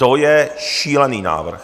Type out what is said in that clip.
To je šílený návrh.